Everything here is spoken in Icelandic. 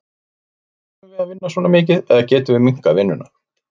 Þurfum við að vinna svona mikið eða getum við minnkað vinnuna?